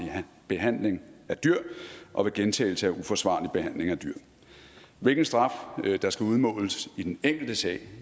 behandling af dyr og ved gentagelse af uforsvarlig behandling af dyr hvilken straf der skal udmåles i den enkelte sag